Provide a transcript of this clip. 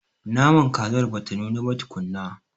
Naman kazar bata nuna ba tukunna.